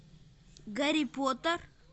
гарри поттер